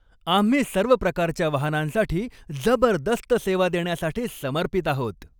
आम्ही सर्व प्रकारच्या वाहनांसाठी जबरदस्त सेवा देण्यासाठी समर्पित आहोत.